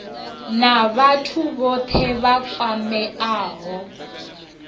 na vhathu vhothe vha kwameaho